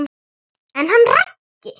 En hann Raggi?